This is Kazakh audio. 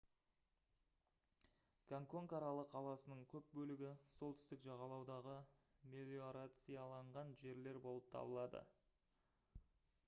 гонгконг аралы қаласының көп бөлігі солтүстік жағалаудағы мелиорацияланған жерлер болып табылады